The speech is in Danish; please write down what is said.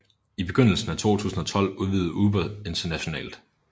I begyndelsen af 2012 udvidede Uber internationalt